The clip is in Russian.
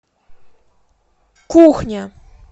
кухня